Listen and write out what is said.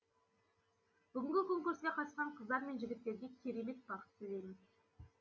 бүгінгі конкурске қатысқан қыздар мен жігіттерге керемет бақыт тілеймін